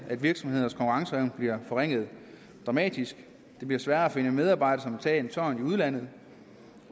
at virksomhedernes konkurrenceevne bliver forringet dramatisk det bliver sværere at finde medarbejdere der vil tage en tørn i udlandet